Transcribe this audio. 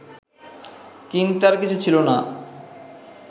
চিন্তার কিছু ছিল না